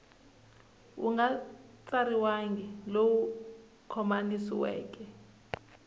wu nga tsariwangi lowu khomanisiweke